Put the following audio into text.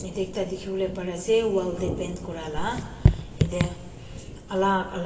ite ekta dikhiwole pari ase wall deh paint kurile ite alak alak--